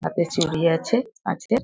হাতে চুড়ি আছে কাঁচের।